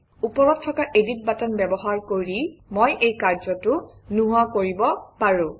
ওপৰত থকা edit button ব্যৱহাৰ কৰি মই এই কাৰ্যটো নোহোৱা কৰিব পাৰোঁ